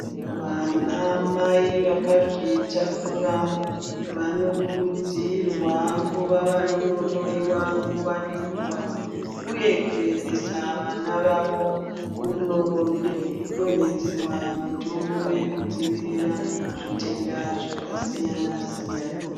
Vana mai vakazvitakura vanokurudzirwa kuva vanono hloyiwa nguwa nenguwa uye kuendesa vana vavo kuno donedzerwa mitombo yekudzivirira zvitenda zvakasiyana siyana.